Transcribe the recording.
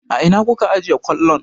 A ina kuka ajiye kwallon?